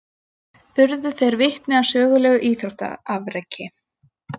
Urðu þeir vitni að sögulegu íþróttaafreki